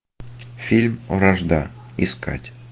фильм вражда искать